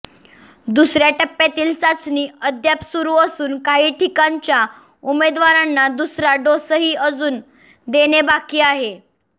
दुसऱ्या टप्पातील चाचणी अद्याप सुरू असून काही ठिकाणच्या उमेदवारांना दुसरा डोसही अजून देणे बाकी आहे